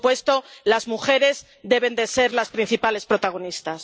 Por supuesto, las mujeres deben ser las principales protagonistas.